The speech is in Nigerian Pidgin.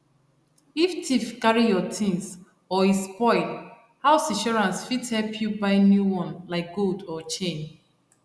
if thief carry your things or e spoil house insurance fit help you buy new one like gold or chain